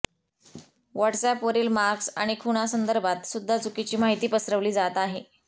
व्हॉट्सअॅपवरील marks आणि खूणासंदर्भात सुद्धा चुकीची माहिती पसरवली जात आहे